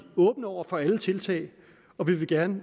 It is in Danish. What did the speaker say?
åbne over for alle tiltag og vi vil gerne